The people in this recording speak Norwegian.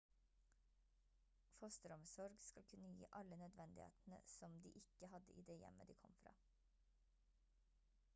fosteromsorg skal kunne gi alle nødvendighetene som de ikke hadde i det hjemmet de kom fra